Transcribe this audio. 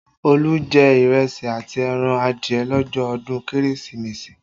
Olu jẹ ìrẹsì àti ẹran adìẹ lọ́jọ́ ọdún Kérésìmesì